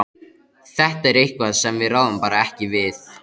Þetta er eitthvað sem við ráðum bara ekki við.